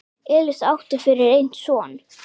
Elísa átti fyrir einn son.